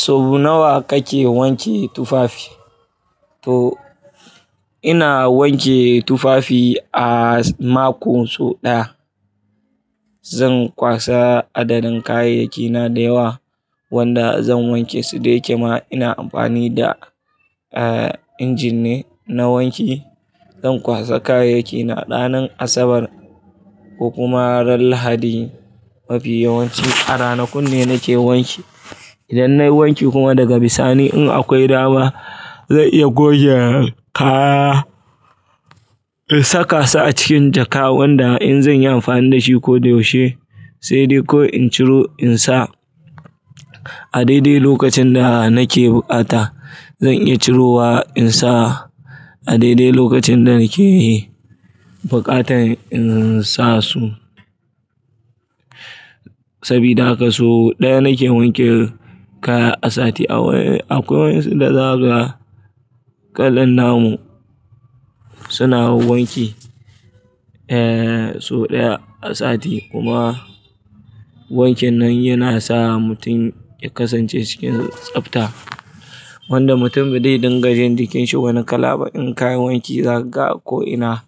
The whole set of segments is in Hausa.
Sau nawa kake wanke tufafi? To ina wanke tufafi a mako sau ɗaya. Zan kwasa adadin kayayyakina da yawa wanda zan wanke su da ya kema ina amfani da, eh, injin ne na wanki. Zan kwasa kayayyakina ranar Asabar ko kuma ran Lahadi. Mafi yawanci a ranakun ne nake wanki. Idan nayi wanki kuma daga bisani in akwai dama zan iya goge kaya, in saka su a cikin jaka wanda in zanyi amfani dashi ko da yaushe sai dai ko in ciro in sa a daidai lokacin da nake bukata. Zan iya ciro wa in sa a daidai lokacin da nake bukatan in sa su. Sabida haka sau ɗaya nake wanke kaya a sati. Akwai waɗansu za su kalan namu suna wanki, eh, sau ɗaya a sati kuma wankin nan yana sa mutum ya kasance cikin tsafta. Wanda mutum badai dinga jin jikinsa wani kala ba in ka yi wanki. Zaga ko ina,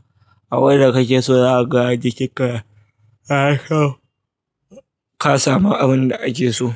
abin da kake so zaga jikinka. Ka samu abin da ake so.